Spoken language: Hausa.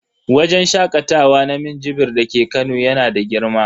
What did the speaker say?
Wajen shakatawa na minjibir dake Kano yana da girma.